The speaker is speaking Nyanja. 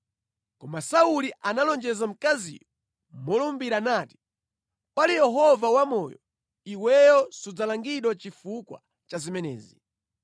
Koma Sauli analonjeza mkaziyo molumbira nati, “Pali Yehova wamoyo, iweyo sudzalangidwa chifukwa cha zimenezi.”